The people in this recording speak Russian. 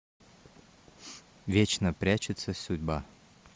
вечно прячется судьба